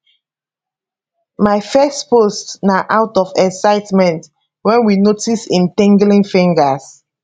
my first post na out of excitement wen we notice im tinglin fingers